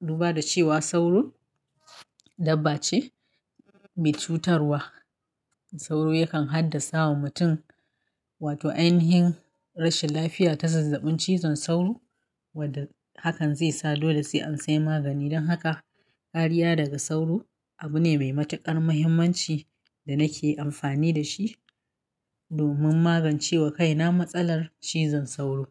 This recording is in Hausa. Duba da cewa sauro dabba ce mai cutarwa, sauro yakan haddasa wa mutum, wato ainihin rashin lafiya ta zazzabin cizon sauro wadda hakan zai sa dole sai an sai magani. Dan haka kariya daga sauro abu ne mai matuƙar muhimmanci da nake amfani da shi domin magance wa kaina matsalar cizon sauro.